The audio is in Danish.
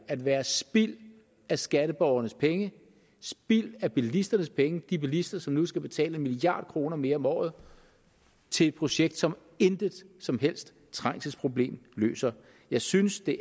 at være spild af skatteborgernes penge spild af bilisternes penge de bilister som nu skal betale en milliard kroner mere om året til et projekt som intet som helst trængselsproblem løser jeg synes det